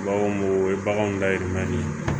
U b'a fɔ mun o ye baganw ka yɛlɛmali ye